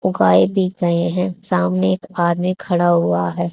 सामने एक आदमी खड़ा हुआ है।